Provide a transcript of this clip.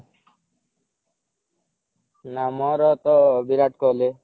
ନା ମୋର ତ ବିରାଟ କୋହଲି